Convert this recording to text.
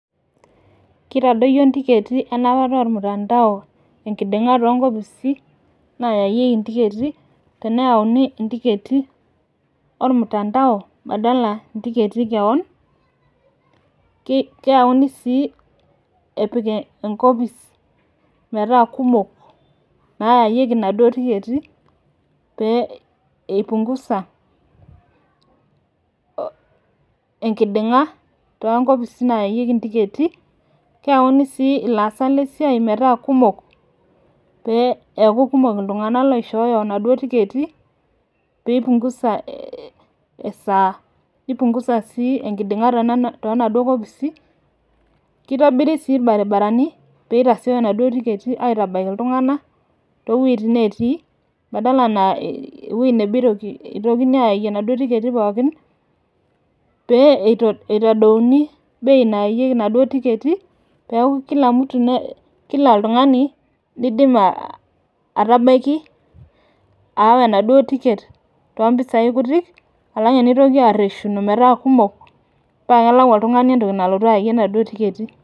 kitadoyioo ntiketi enapata ormutandao enkiding'a too nkpisi naayayieki ntiketi, tenayaauni ntiketi, ormutandao badala intiketi ekewon. keyauni sii apik enkopis, metaa kumok naayieki inaduo tiketi pee ipungusa enkiding'a too nkopisi naayayieki ntiketi. keyauni sii ilaasak lesiai metaa kumok pee eeku kumok iltungana loishooyo inaduoo tiketi pee ipungusa esaa nipungusa si enkiding'a too naduoo kopisi. kitobiri sii ilbaribarani pe itasiooyo inaduoo tiketi aitabaiki iltungana too weitin netii. badala naa ewueo nabo itokini aayayie inaduoo tiketi pookin. pee eitodouni bei nayayie inaduoo tiketi peeku kila mtu kila oltungani nidim atabaiki, aawa enaduoo ticket too pisai kutik, alang eneitoki aresuno metaa kumok paa kelak oltungani entoki nalotu ayayie inaduoo tiketi.